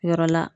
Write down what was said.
Yɔrɔ la